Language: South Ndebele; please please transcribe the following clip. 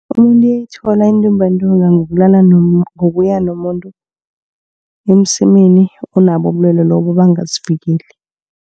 Umuntu uyayithola intumbantonga ngokulala, ngokuya nomuntu emsemeni onabo ubulwelwe lobu bangazivikeli.